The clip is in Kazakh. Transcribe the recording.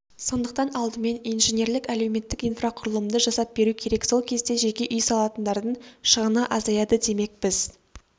сондықтан алдымен инженерлік-әлеуметтік инфрақұрылымды жасап беру керек сол кезде жеке үй салатындардың шығыны азаяды демек біз